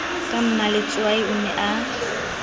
ka mmaletswai o ne a